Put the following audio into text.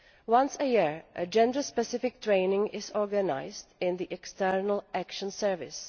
Once a year a gender specific training course is organised in the External Action Service.